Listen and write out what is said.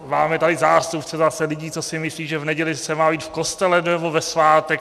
Máme tady zástupce zase lidí, co si myslí, že v neděli se má být v kostele, nebo ve svátek.